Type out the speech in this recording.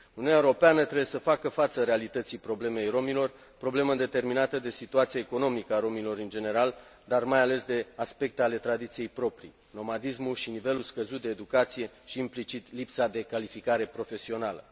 Uniunea Europeană trebuie să facă față realității problemei rromilor, problemă determinată de situația economică a rromilor în general, dar, mai ales, de aspecte ale tradiției proprii nomadismul și nivelul scăzut de educație și, implicit, lipsa de calificare profesională.